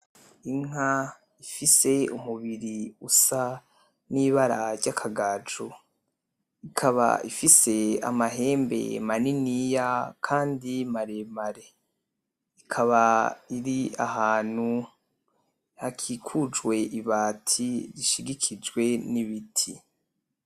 Inka ifise umubiri usa nibara ry'akagaju, ikaba ifise amahembe maniniya kandi maremare, ikaba iri ahantu hakikujwe ibati ishigikijwe n'ibiti.